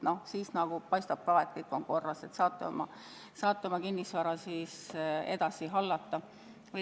Paistab, et kõik on korras, te saate oma kinnisvara edasi hallata.